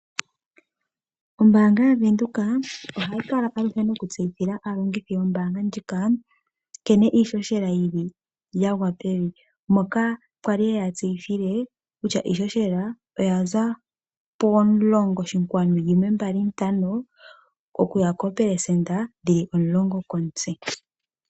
Ombanga yaVenduka ohayi kala aluhe nokutseyithila aalongithi yombanga ndjika nkene iishoshela yili ya gwa pevi moka kwali yeya tsyithile kutya iishoshela oya za pomulongo oshinkwali yimwe mbali ntano okuya koopelesenda dhili omulongo komutse.